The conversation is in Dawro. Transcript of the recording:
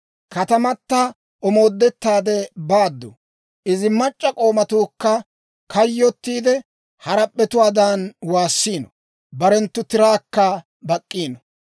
Katamata omoodettaade baaddu; izi mac'c'a k'oomatuukka kayyottiidde, harap'p'etuwaadan waassiino; barenttu tiraakka bak'k'iino.